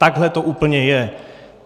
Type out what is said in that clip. Takhle to úplně je.